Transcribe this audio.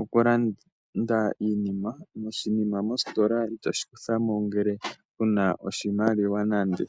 okulanda iinima, oshinima mositola itoshi kuthamo ngele kuna oshimaliwa nande.